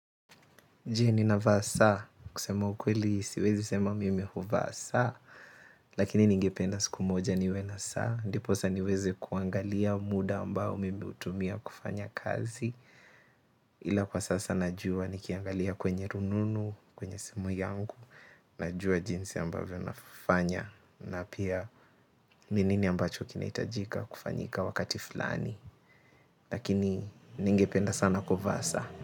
Je ninavaa saa kusema ukweli siwezi sema mimi huvaa saa lakini ningependa siku moja niwe na saa ndiposa niweze kuangalia muda ambao mimi hutumia kufanya kazi ila kwa sasa najua nikiangalia kwenye rununu, kwenye simu yangu najua jinsi ambavyo nafanya na pia ni nini ambacho kinahitajika kufanyika wakati fulani lakini ningependa sana kuvaa saa.